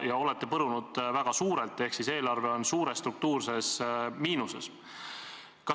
Ja olete põrunud väga suurelt, sest eelarve on suures struktuurses miinuses.